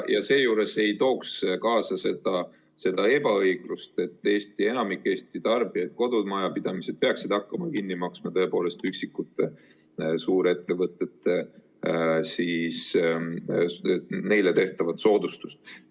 Ja seejuures ei tooks see kaasa seda ebaõiglust, et enamik Eesti tarbijaid, kodumajapidamisi, peaksid hakkama kinni maksma üksikutele suurettevõtetele tehtavat soodustust.